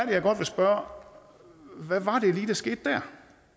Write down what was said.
jeg godt vil spørge hvad var det lige der skete der